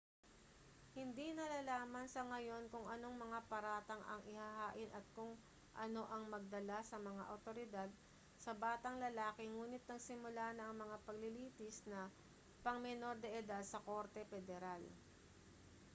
hindi nalalaman sa ngayon kung anong mga paratang ang ihahain o kung ano ang nagdala sa mga awtoridad sa batang lalaki ngunit nagsimula na ang mga paglilitis na pang-menor de edad sa korte pederal